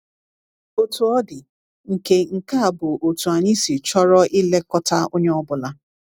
Otú ọ dị, nke nke a bụ otú anyị si chọrọ ilekọta onye ọ bụla.